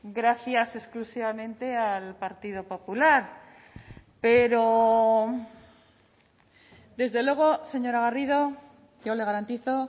gracias exclusivamente al partido popular pero desde luego señora garrido yo le garantizo